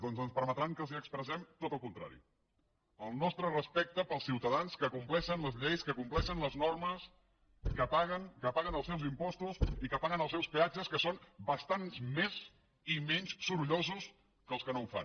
doncs ens permetran que els expressem tot el contrari el nostre respecte pels ciutadans que compleixen les lleis que compleixen les normes que paguen que paguen els seus impostos i que paguen els seus peatges que són bastants més i menys sorollosos que els que no ho fan